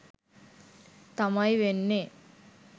තමයි වෙන්නේ.